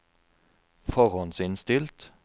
forhåndsinnstilt